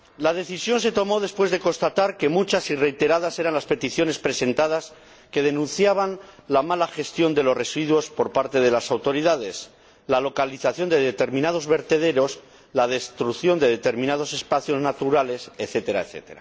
La decisión se tomó después de constatar que eran muchas y reiteradas las peticiones presentadas que denunciaban la mala gestión de los residuos por parte de las autoridades, la localización de determinados vertederos, la destrucción de determinados espacios naturales, etc.